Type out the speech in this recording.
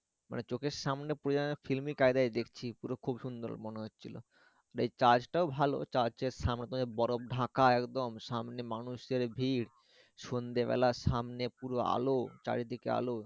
মানে চোখের সামনে পুরো ফিল্মি কায়দায় দেখছি পুরো খুব সুন্দর মনে হচ্ছিলো আর এই Church টাও ভালো চার্চের সামনে বরফ ঢাকা একদম সামনে মানুষের ভীড় সন্ধ্যে বেলা সামনে পুরো আলো চারিদিকে আলো